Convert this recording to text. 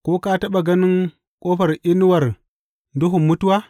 Ko ka taɓa ganin ƙofar inuwar duhun mutuwa?